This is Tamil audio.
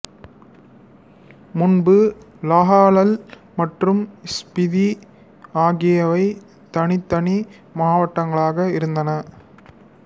முன்பு லாஹௌல் மற்றும் ஸ்பிதி ஆகியவை தனித்தனி மாவட்டங்களாக இருந்தன